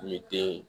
I te